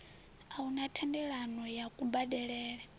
a huna thendelano ya kubadelele